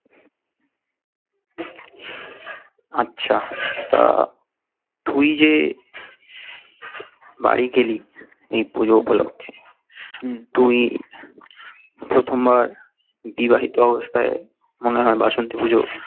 আচ্ছা তা তুই যে বাড়ি গেলি এই পুজো উপলক্ষে তুই প্রথমবার বিবাহিত অবস্থায় মনে হয় বাসন্তী পুজো